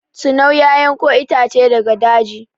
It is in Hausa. Tinau ya yanko itace daga daji.